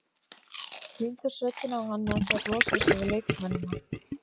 Þeir klíndu sökinni á hann meðan þeir losuðu sig við leikmennina.